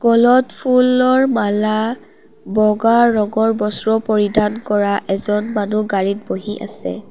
গলত ফুলৰ মালা বগা ৰঙৰ বস্ত্ৰ পৰিধান কৰা এজন মানুহ গাড়ীত বহি আছে।